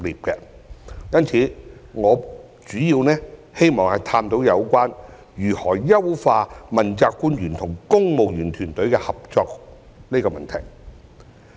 因此，我主要希望探討如何優化問責官員與公務員團隊的合作這個問題。